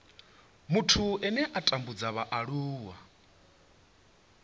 muthu ane a tambudza vhaaluwa